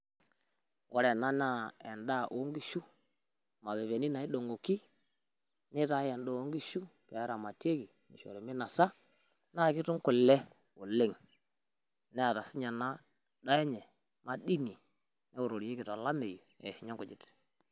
Ore ena naa endaa o nkishu mapepeni naidong'oki nitae endaa o nkishu pee eramatieki, nishori minasa naake etum kule oleng' neeta siinye ena daa enye madini newororieki tolameyu eishunye nkujit.